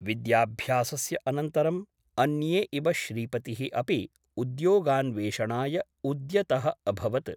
विद्याभ्यासस्य अनन्तरम् अन्ये इव श्रीपतिः अपि उद्योगान्वेषणाय उद्यतः अभवत् ।